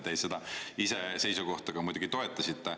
Te ise seda seisukohta muidugi toetasite.